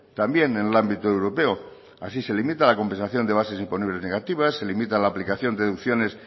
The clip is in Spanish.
también en el ámbito europeo así se limita la compensación de bases imponibles negativas se limita la aplicación de deducciones